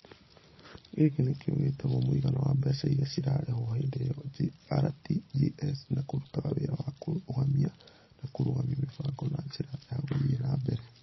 Gĩkĩ nĩ kĩo gĩtagwo mũigana wa mbeca iria ciarĩhwo hĩndĩ ĩyo (RTGS) na kĩrutaga wĩra wa kũrũgamia na kũrũgamia mĩbango na njĩra ya gũthiĩ na mbere.